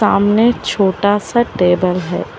आमने छोटा सा टेबल है।